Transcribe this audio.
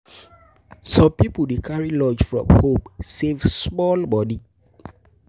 Some pipo dey carry lunch from home, save small money.